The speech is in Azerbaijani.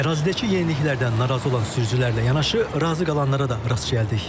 Ərazidəki yeniliklərdən narazı olan sürücülərlə yanaşı, razı qalanlara da rast gəldik.